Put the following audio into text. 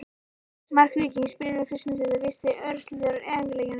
Mark Víkings: Brynjar Kristmundsson Veistu úrslit úr æfingaleikjum?